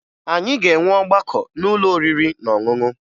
Anyị ga-enwe ọgbakọ n'ụlọ oriri na ọṅụṅụ